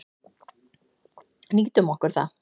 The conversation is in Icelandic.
Nýtum okkur það.